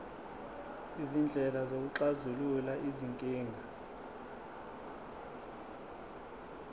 izindlela zokuxazulula izinkinga